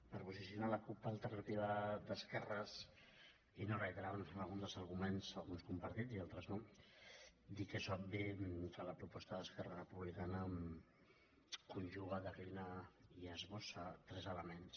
per posicionar la cup alternativa d’esquerres i no reiterar nos en alguns dels arguments alguns compartits i altres no dir que és obvi que la proposta d’esquerra republicana conjuga declina i esbossa tres elements